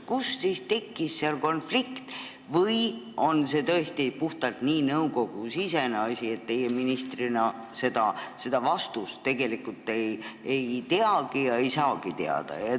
Kust siis tekkis konflikt või on see tõesti puhtalt nii nõukogusisene asi, et teie ministrina seda vastust ei tea ega saagi teada?